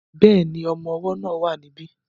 Bẹ́ẹ̀ni, ọmọ ọwọ́ náà wà ní bí